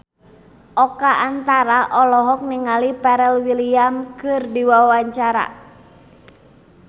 Oka Antara olohok ningali Pharrell Williams keur diwawancara